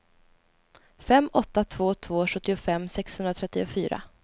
fem åtta två två sjuttiofem sexhundratrettiofyra